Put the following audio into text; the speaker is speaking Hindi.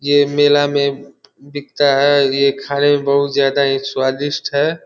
ये मेला में बिकता है ये खाने में बहुत ज्यादा ही स्वादिष्ठ है।